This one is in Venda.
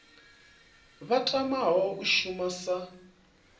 vha tamaho u shuma sa